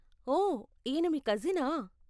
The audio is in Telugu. ఓయ్, ఈన మీ కజినా?